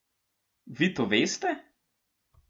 Vi to veste?